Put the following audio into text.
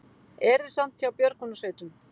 Erilsamt hjá björgunarsveitum